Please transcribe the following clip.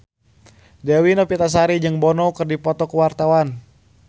Dewi Novitasari jeung Bono keur dipoto ku wartawan